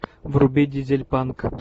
вруби дизельпанк